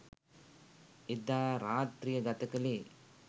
එදා රාත්‍රිය ගත කළේ